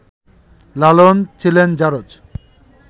লালন ছিলেন ‘জারজ’